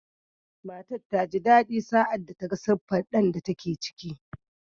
Matar ta ji daɗi sa’ad da ta ga siffar ɗan da take ciki.